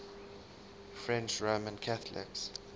french roman catholics